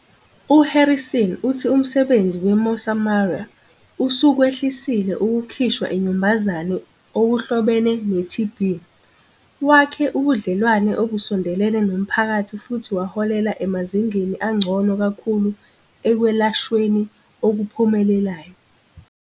U-Harrison uthi umsebenzi we-Mosamaria usukwehlisile ukukhishwa inyumbazane okuhlobene ne-TB, wakhe ubudlelwane obusondelene nomphakathi futhi waholela emazingeni angcono kakhulu ekwelashweni okuphumelelayo.